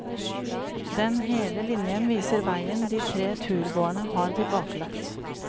Den hele linjen viser veien de tre turgåerne har tilbakelagt.